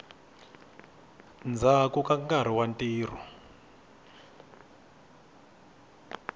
ndzhaku ka nkarhi wa ntirho